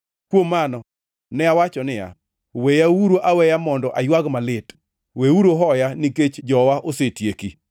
Kuom mano ne awacho niya, “Weyauru aweya mondo aywag malit. Weuru hoya nikech jowa osetieki.”